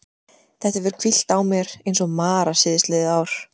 Þetta hefur hvílt á mér eins og mara síðastliðið ár.